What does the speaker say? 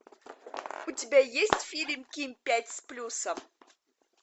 у тебя есть фильм ким пять с плюсом